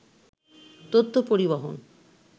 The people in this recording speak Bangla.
তথ্য পরিবহন